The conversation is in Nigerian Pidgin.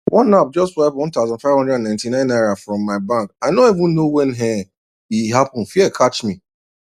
one app just wipe 1599 naira from my bank i no even know when um e happen fear catch me